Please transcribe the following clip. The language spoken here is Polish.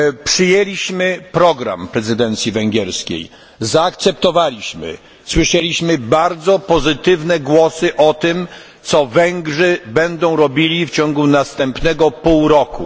Przyjęliśmy program prezydencji węgierskiej, zaakceptowaliśmy, słyszeliśmy bardzo pozytywne głosy o tym, co Węgrzy będą robili w ciągu następnego półrocza.